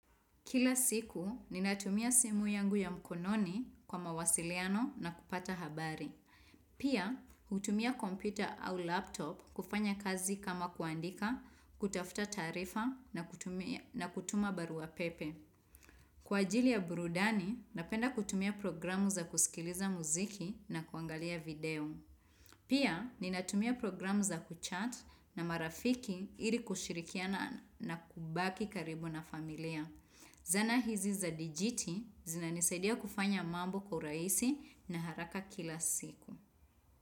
Kila siku, ninatumia simu yangu ya mkononi kwa mawasiliano na kupata habari. Pia, hutumia kompyuta au laptop kufanya kazi kama kuandika, kutafuta taarifa na kutuma baruapepe. Kwa ajili ya burudani, napenda kutumia programu za kusikiliza muziki na kuangalia video. Pia, ninatumia programu za kuchat na marafiki ili kushirikiana na kubaki karibu na familia. Zana hizi za dijiti zinanisadia kufanya mambo kwa uraisi na haraka kila siku.